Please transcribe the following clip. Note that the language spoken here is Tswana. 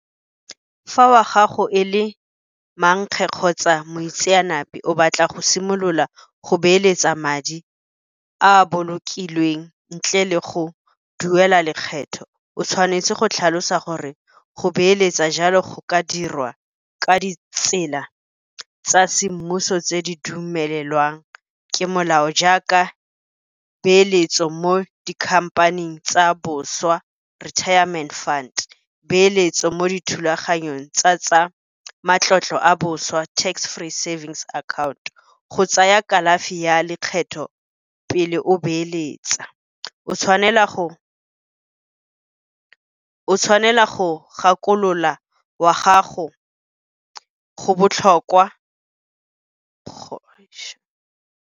Fa wa gago e le mankge kgotsa moitseanape o batla go simolola go beeletsa madi a bolokilweng ntle le go duela lekgetho, o tshwanetse go tlhalosa gore go beeletsa jalo go ka dirwa ka ditsela tsa semmuso tse di dumelelwang ke molao, jaaka peeletso mo di-company-eng tsa boswa retirement fund, eeletsa mo dithulaganyong tsa tsa matlotlo a boswa, tax-free savings account. Go tsaya kalafi ya lekgetho pele o beeletsa. O tshwanela go gakolola wa gago go botlhokwa .